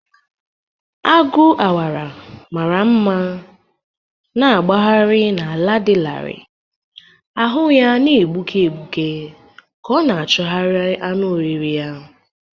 Agu awara mara mma na-agbagharị n’ala dị larịị, ahụ ya na-egbuke egbuke ka ọ na-achụgharị anụ oriri ya.